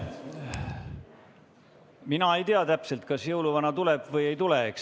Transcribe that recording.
Mina ei tea täpselt, kas jõuluvana tuleb või ei tule.